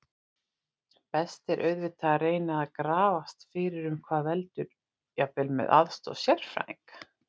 Best er auðvitað að reyna að grafast fyrir um hvað veldur, jafnvel með aðstoð sérfræðinga.